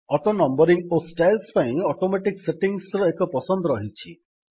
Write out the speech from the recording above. ଅଟୋନମ୍ୱରିଙ୍ଗ୍ ଓ ଷ୍ଟାଇଲ୍ସ ପାଇଁ ଅଟୋମେଟିକ୍ ସେଟିଙ୍ଗ୍ସର ଏକ ପସନ୍ଦ ରହିଛି